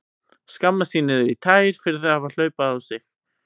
Skammast sín niður í tær fyrir að hafa hlaupið á sig.